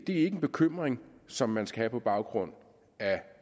en bekymring som man skal have på baggrund af